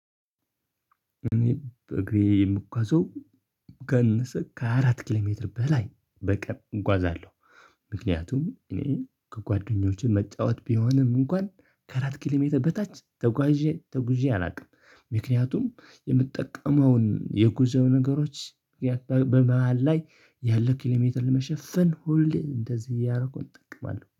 እኔ በእግሬ የምጓዘው ካነሰ ከአራት ኪሎ ሜትር በላይ በቀን እንጓዛለሁ። ምክንያቱም እኔ ከጓደኞቼ መጫወት ቢሆንም እንኳን ከአራት ኪሎሜትር በታች ተጉዥ ተጉዤ አላውቅም። ምክንያቱም የምጠቀመውን የጉዞ ነገሮች በመሃል ላይ ያለ ኪሎሜትር መሸፈን ሁሌ እንደዚህ እያረኩ እጠቀማለሁ